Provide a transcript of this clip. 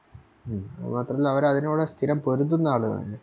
ഉം അത് മാത്രല്ല അവരതിനോട് സ്ഥിരം പൊരുതുന്ന ആളുവാണ്